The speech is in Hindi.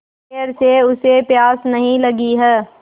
देर से उसे प्यास नहीं लगी हैं